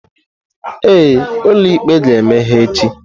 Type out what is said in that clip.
Ee, ụlọ ikpe ga-emeghe echi.